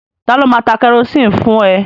Ta ló máa ta kẹrosini fún ẹ?